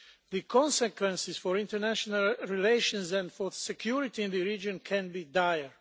The consequences for international relations and for security in the region could be dire.